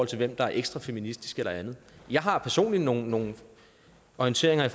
til hvem der er ekstra feministisk eller andet jeg har personligt nogle nogle orienteringer i